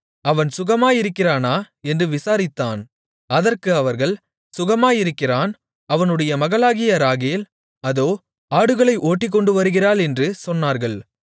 அவன் சுகமாயிருக்கிறானா என்று விசாரித்தான் அதற்கு அவர்கள் சுகமாயிருக்கிறான் அவனுடைய மகளாகிய ராகேல் அதோ ஆடுகளை ஓட்டிக்கொண்டு வருகிறாள் என்று சொன்னார்கள்